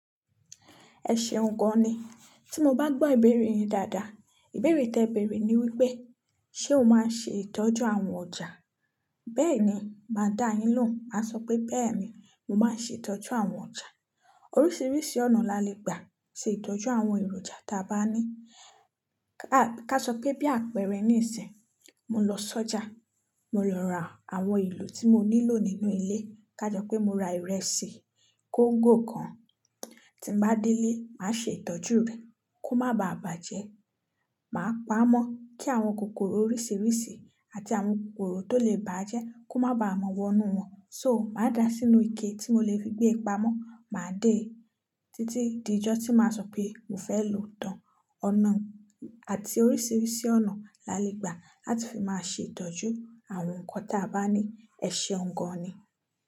Ẹ ṣeun gan ni. Tí mo bá gbọ́ ìbéèrè yin dáadáa, ìbéèrè tí ẹ béèrè ni wípé, ṣé o máa ń ṣe ìtọ́jú àwọn ọjà? Bẹ́ẹ̀ ni, màá dá yín lòun, màá sọ pé bẹ́ẹ̀ ni, mo máa ń ṣe ìtọ́jú àwọn ọjà. Oríṣiríṣi ọ̀nà lalẹ gba ṣe ìtọ́jú àwọn èròjà tí a bá ní. Ká sọ pé bí àpẹẹrẹ ní sìn, mo lọ sọ́jà, mo lọ ra àwọn elo tí mo nílò nínú ilé. Ká jẹ́ pé mo ra ìrẹsì kongò kan, tí m bá délé, màá ṣe ìtọ́jú rẹ̀ kó má baà bàjẹ́. Màá pamọ́ kí àwọn kòkòrò oríṣiríṣi àti àwọn kòkòrò tó lè bàjẹ́ kó má ba mọ̀wọ́ inú wọn. So, màá dà á sínú ike tí mo lè fi gbé e pamọ́, màá dé e títí di ijọ́ tí màá sọ pé mo fẹ́ lò tán. Ọ̀nà àti oríṣiríṣi ọ̀nà lalẹ gba láti fi máa ṣe ìtọ́jú àwọn ǹkan tí a bá ní. Ẹ ṣeun gan ni.